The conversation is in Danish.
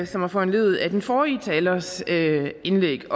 som er foranlediget af den forrige talers indlæg